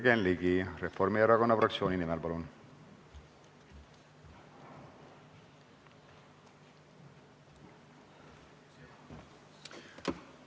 Jürgen Ligi Reformierakonna fraktsiooni nimel, palun!